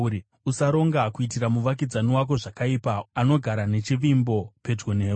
Usaronga kuitira muvakidzani wako zvakaipa, anogara nechivimbo pedyo newe.